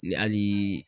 Ni hali